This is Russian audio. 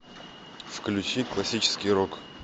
включи классический рок